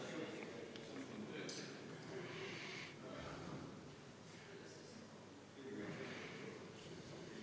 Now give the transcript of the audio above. Järelikult ei leidnud eelnõu 589 Riigikogu toetust ja langeb menetlusest välja.